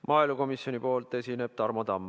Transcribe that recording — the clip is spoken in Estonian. Maaelukomisjoni nimel esineb Tarmo Tamm.